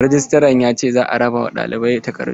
Rejistran ya ce za a raba ma ɗalibai takardu.